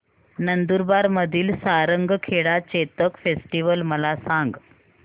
नंदुरबार मधील सारंगखेडा चेतक फेस्टीवल मला सांग